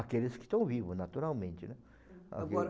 Aqueles que estão vivos, naturalmente, né. Agora